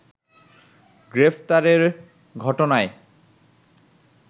গ্রেফতারের ঘটনায়